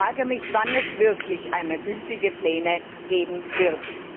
Ich frage mich, wann es wirklich einmal gültige Pläne geben wird.